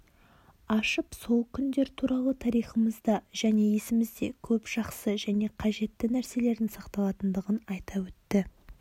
ашып сол күндер туралы тарихымызда және есімізде көп жақсы және қажетті нәрселердің сақталатындығын айта өтті